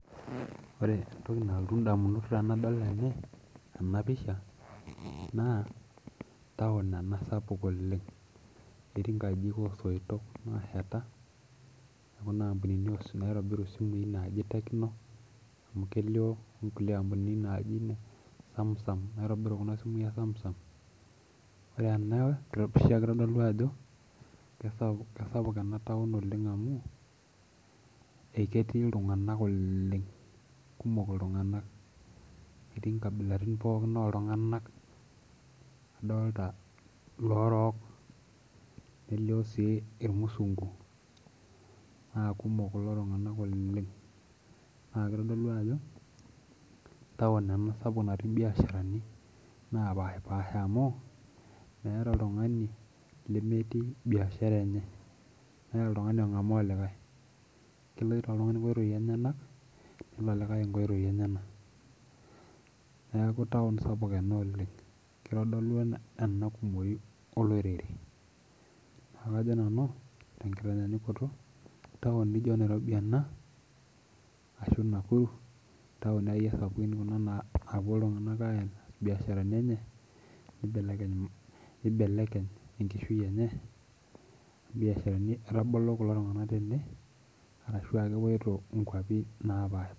Ore entoki nalotu indamunot tenadol eh ena pisha naa town ena sapuk oleng ketii inkajijik osoitok naasheta ekuna ampunini oshi naitobiru isimui naaji tecno amu kelio onkulie ampunini naaji samsung naitobiru kuna simui e samsung ore ena asia kitodolu ajo kesapuk kasapuk ena town oleng amu eketii iltung'anak oleng kumok iltung'anak etii inkabilarin pookin oltung'anak adolta iloorok nelio sii irmusungu naakumok kulo tung'anak oleng naa kitodolu ajo town ena sapuk natii imbiasharani napashipasha amu meeta oltung'ani lemetii biashara enye meeta oltung'ani ong'amaa olikae keloito oltung'ani inkoitoi enyenak nelo olikae inkoitoi enyena niaku towncs] sapuk ena oleng kitodolu ena ena kumoi olorere naa kajo nanu tenkitanyanyukoto town nijio nairobi ena ashu nakuru intaoni akeyie sapukin naapuo iltung'anak aitas biasharani enye nibelekeny enkishui enye imbiasharani etabolo kulo tung'anak tene arashua kepuoito inkuapi napaasha.